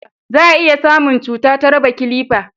za a iya samun cuta ta raba kilifa